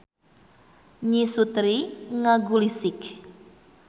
Nyi Surti ngagulisik.